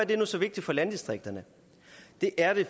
det nu så vigtigt for landdistrikterne det er det